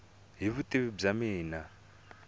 hi vutivi bya mina i